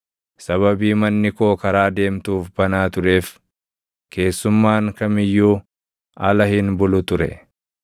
sababii manni koo karaa deemtuuf banaa tureef, keessummaan kam iyyuu ala hin bulu ture.